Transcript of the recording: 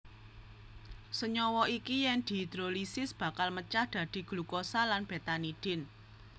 Senyawa iki yen dihidrolisis bakal mecah dadi glukosa lan betanidin